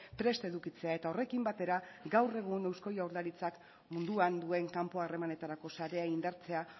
prest edukitzea eta horrekin batera gaur egun eusko jaurlaritzak munduan duen kanpo harremanetarako sarea indartzea